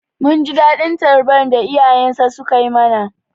Mun ji daɗin tarbar da iyayensa sukai mana.